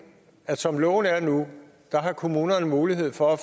at som loven er nu har kommunerne mulighed for at